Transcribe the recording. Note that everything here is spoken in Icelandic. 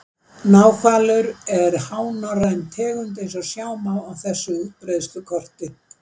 Náhvalur er hánorræn tegund eins og sjá má á þessu útbreiðslukorti.